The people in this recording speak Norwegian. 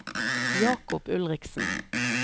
Jacob Ulriksen